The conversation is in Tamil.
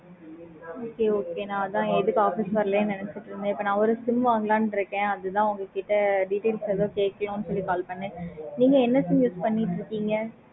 okay okay நா அதான் எதுக்கு office வரலன்னு நெனச்சிட்டு இருந்தேன். இப்ப நான் ஒரு sim வாங்கலான்னு இருக்கேன். அதுதான் உங்ககிட்ட details வந்து கேட்கலாம்னு call பண்ணேன் நீங்க என்ன Sim use பண்ணிட்டு இருக்கீங்க